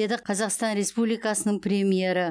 деді қазақстан республикасының премьері